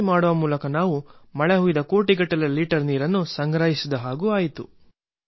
ಜೊತೆಗೆ ನಾವು ಮೈದಾನದಲ್ಲಿ ಬೀಳುವ ಕೋಟಿಗಟ್ಟಲೆ ಲೀಟರ್ ನೀರನ್ನು ಉಳಿಸುವಲ್ಲಿ ಯಶಸ್ವಿಯಾಗಿದ್ದೇವೆ